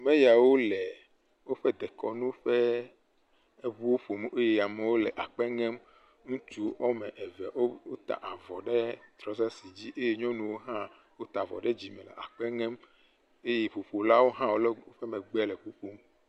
Ameyawo le woƒe dekɔnu ƒe eŋuwo ƒom eye amewo le akpe ŋem. Ŋutsu wɔme eve woat aavɔ ɖe trɔsasi dzi eye nyɔnuwo hã wota avɔ ɖe dzime le akpe ŋem eye ŋuƒolawo hã wo le ŋu ƒe megbe le ŋu ƒom.